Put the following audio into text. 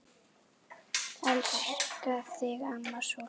Elska þig, amma sól.